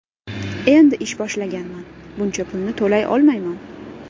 Endi ish boshlaganman, buncha pulni to‘lay olmayman.